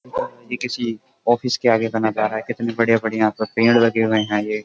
ये किसी ऑफिस के आगे का नज़ारा है। कितने बढ़िया-बढ़िया प पेड़ लगे हुये हैं ये।